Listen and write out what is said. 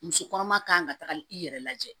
Muso kɔnɔma kan ka taga i yɛrɛ lajɛ